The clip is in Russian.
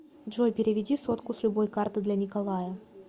джой переведи сотку с любой карты для николая